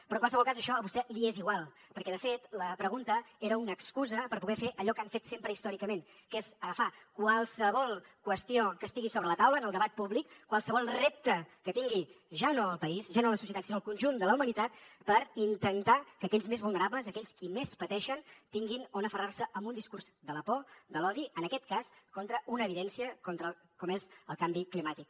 però en qualsevol cas això a vostè li és igual perquè de fet la pregunta era una excusa per poder fer allò que han fet sempre històricament que és agafar qualsevol qüestió que estigui sobre la taula en el debat públic qualsevol repte que tingui ja no el país ja no la societat sinó el conjunt de la humanitat per intentar que aquells més vulnerables aquells qui més pateixen tinguin on aferrar se amb un discurs de la por de l’odi en aquest cas contra una evidència com és el canvi climàtic